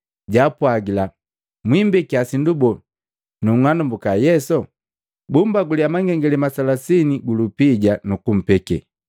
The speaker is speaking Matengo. jaapwagila, “Mwimbekia sindu boo nanung'anambwiki Yesu?” Bumbalangiya mangengalema makomi matatu gu lupija nukumpeke.